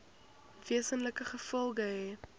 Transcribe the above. wesenlike gevolge hê